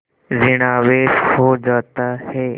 ॠण आवेश हो जाता है